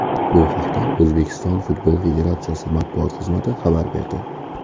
Bu haqda O‘zbekiston Futbol Federatsiyasi matbuot xizmati xabar berdi .